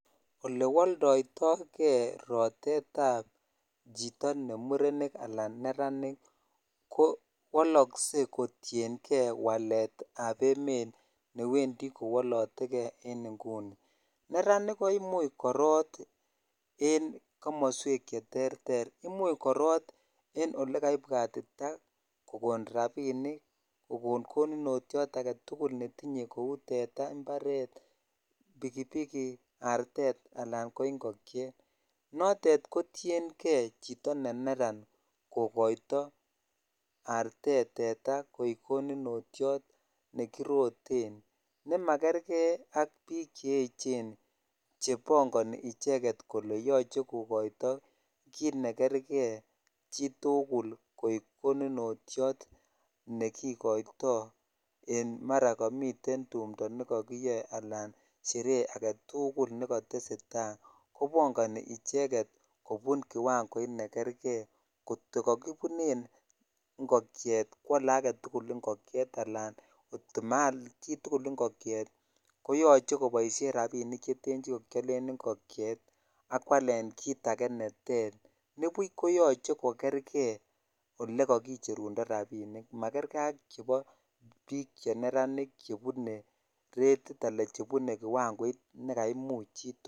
Ole waldai toke rotetab chito ne murenik anan neranik ko woloskei kotiengee waletab emet newendi kowalotenge en inguni neranik koimuch korot en komoswek cheterter imuch korot en olikaibwatitaa kokon rabinik kokon konutotiot ake tugul netinye kou teta, imbaret, bikibiki, artet ,anan ko ingokiet notet kotiengee chito ne neran kokoito artet ,teta koek konutotiot nekiroten nemakergee ak biik che echen chebangani icheket kole yoche kokoito kiit ne kerge chitugul koek konutotiot nekikoito en mara kamiten tumdo ne kakiyae anan sherehe age tugul nekatesetai kobagani icheket kobun kiwangoit nekergee kotokakobunen ngokiet koale age tugul ngokiet anan kotomaal chitugul ngokiet koyache koboisien rabinik cheten chikakiyalen ngokiet akwal kiit age neter nibuch koyache kokergee olikakicherundo rabinik makergee ak chebo biik che neranik chebune retit anan chebune kiwangoit ne kaimuch chitugul.